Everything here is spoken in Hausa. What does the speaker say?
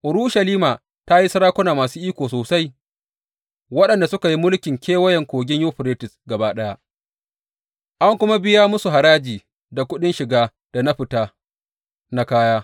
Urushalima ta yi sarakuna masu iko sosai waɗanda suka yi mulkin Kewayen Kogin Yuferites gaba ɗaya, an kuma biya masu haraji, da kuɗin shiga da na fita na kaya.